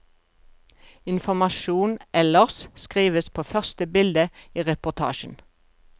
Informasjon ellers skrives på første bilde i reportasjen.